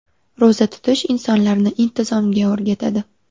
Ro‘za tutish insonlarni intizomga o‘rgatadi.